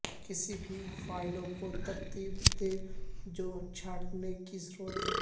کسی بھی فائلوں کو ترتیب دیں جو چھانٹنے کی ضرورت ہے